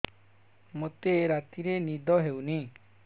ମୋତେ ରାତିରେ ନିଦ ହେଉନି